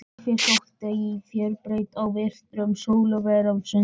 Sauðfé sótti í fjörubeit á vetrum, og sölvatekja var stunduð.